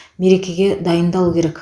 мерекеге дайындалу керек